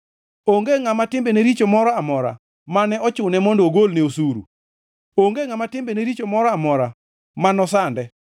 Onge ngʼama timbene richo moro amora mane ochune mondo ogolne osuru; onge ngʼama timbene richo moro amora ma nosande.